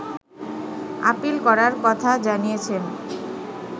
appeal করার কথা জানিয়েছেন